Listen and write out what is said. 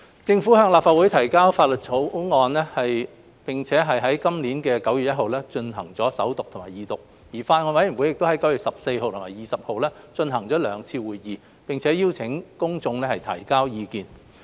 政府向立法會提交《條例草案》，並於今年9月1日進行首讀及二讀。而法案委員會在9月14日及20日舉行了兩次會議，並邀請公眾提交意見。